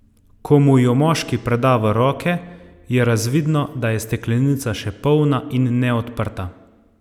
Ko mu jo moški preda v roke, je razvidno, da je steklenica še polna in neodprta.